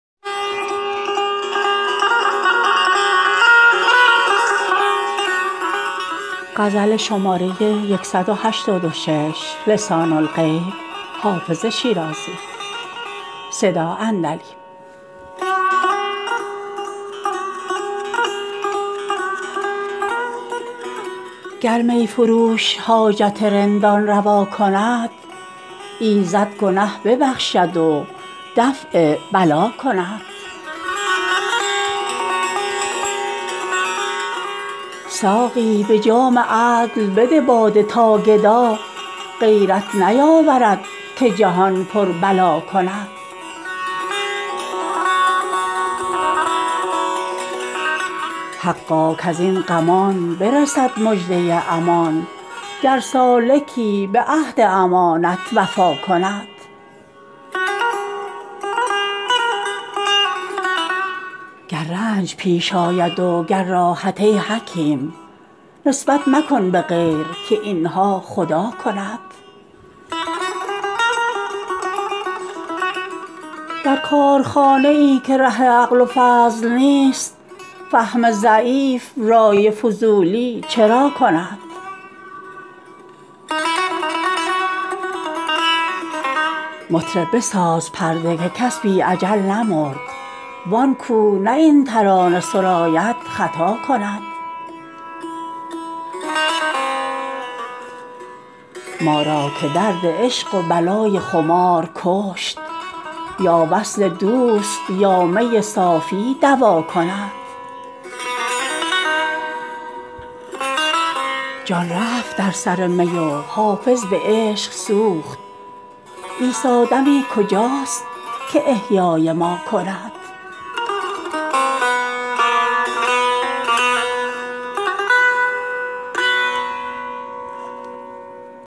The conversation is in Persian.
گر می فروش حاجت رندان روا کند ایزد گنه ببخشد و دفع بلا کند ساقی به جام عدل بده باده تا گدا غیرت نیاورد که جهان پر بلا کند حقا کز این غمان برسد مژده امان گر سالکی به عهد امانت وفا کند گر رنج پیش آید و گر راحت ای حکیم نسبت مکن به غیر که این ها خدا کند در کارخانه ای که ره عقل و فضل نیست فهم ضعیف رای فضولی چرا کند مطرب بساز پرده که کس بی اجل نمرد وان کو نه این ترانه سراید خطا کند ما را که درد عشق و بلای خمار کشت یا وصل دوست یا می صافی دوا کند جان رفت در سر می و حافظ به عشق سوخت عیسی دمی کجاست که احیای ما کند